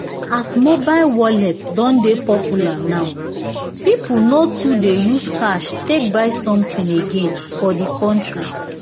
as mobile wallet don dey popular now people no too dey use cash take buy something again for the country